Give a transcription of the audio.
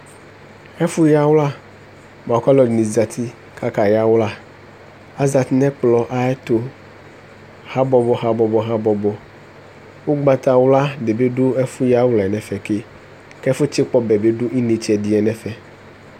Ɛfʋ yawla bʋakʋ alʋ ɛdini zati kʋ aka yawla azeti nʋ ɛkplɔ ayʋ ɛtʋ habɔbɔ habɔbo habɔbɔ ʋgbatawla dibi dʋ ɛfʋyawlɛ nʋ ɛfɛ ke kʋ ɛfʋ tsikpɔ ɔbɛ bi dʋ intse ɛdiɛ nʋ ɛfɛ